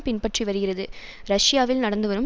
பின்பற்றி வருகிறது ரஷியாவில் நடந்துவரும்